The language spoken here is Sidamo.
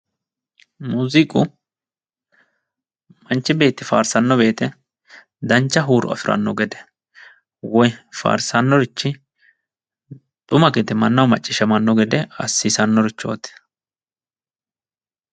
Muuziiqu manchu beetti faarsanno woyite dancha huuro afiranno gede woyi faarsannorichi xuma gede mannaho macciishshamanno gede assannorichooti.